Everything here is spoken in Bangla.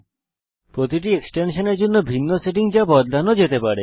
অতএব প্রতিটি এক্সটেনশানের ভিন্ন সেটিংস রয়েছে যা বদলানো যেতে পারে